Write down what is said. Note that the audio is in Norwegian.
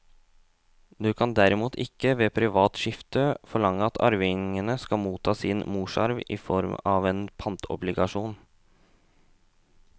Du kan derimot ikke ved privat skifte forlange at arvingene skal motta sin morsarv i form av en pantobligasjon.